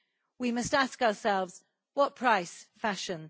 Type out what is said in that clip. We must ask ourselves what price, fashion?